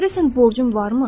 Görəsən borcum varmı?